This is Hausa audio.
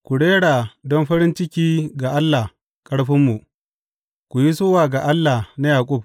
Ku rera don farin ciki ga Allah ƙarfinmu; ku yi sowa ga Allah na Yaƙub!